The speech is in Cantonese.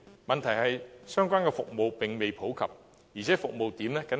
問題是，相關的服務並未普及，而且服務點僅限於深圳。